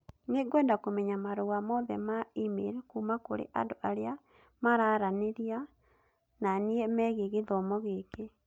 Nĩngwenda kũmenya marũa mothe ma e-mail kuuma kũrĩ andũ arĩa mararanĩria na niĩ megiĩ gĩthomo gĩkĩ.